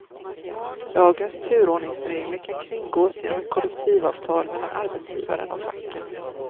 Lagens turordningsregler kan kringgås genom ett kollektivavtal mellan arbetsgivaren och facken.